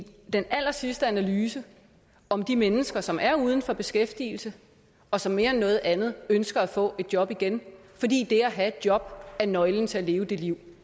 den allersidste analyse om de mennesker som er uden for beskæftigelse og som mere end noget andet ønsker at få et job igen fordi det at have et job er nøglen til at leve det liv